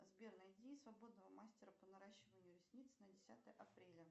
сбер найди свободного мастера по наращиванию ресниц на десятое апреля